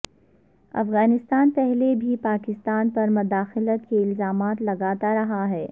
افغانستان پہلے بھی پاکستان پر مداخلت کے الزامات لگاتا رہا ہے